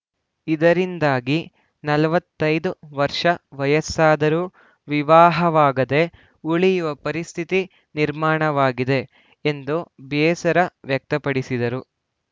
ಇದರಿಂದಾಗಿ ನಲವತ್ತ್ ಐದು ವರ್ಷ ವಯಸ್ಸಾದರೂ ವಿವಾಹವಾಗದೇ ಉಳಿಯುವ ಪರಿಸ್ಥಿತಿ ನಿರ್ಮಾಣವಾಗಿದೆ ಎಂದು ಬೇಸರ ವ್ಯಕ್ತಪಡಿಸಿದರು